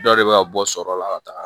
Dɔ de bɛ ka bɔ sɔrɔ la ka taga